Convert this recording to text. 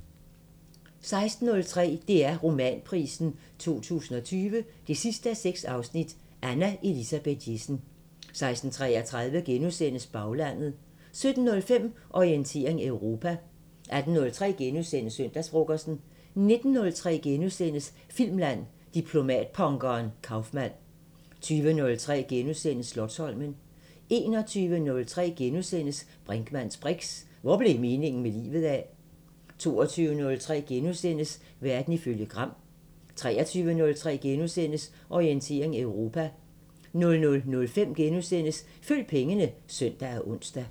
16:03: DR Romanprisen 2020 6:6 – Anna Elisabeth Jessen 16:33: Baglandet * 17:05: Orientering Europa 18:03: Søndagsfrokosten * 19:03: Filmland: Diplomatpunkeren Kaufmann * 20:03: Slotsholmen * 21:03: Brinkmanns briks: Hvor blev meningen med livet af? * 22:03: Verden ifølge Gram * 23:03: Orientering Europa * 00:05: Følg pengene *(søn og ons)